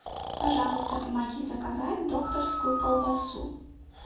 пожалуйста помоги заказать докторскую колбасу